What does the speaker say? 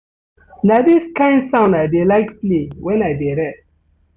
Na dis kain sound I dey like play wen I dey rest.